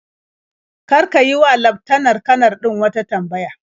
Kar ka yi wa laftanar-kanar din wata tambaya.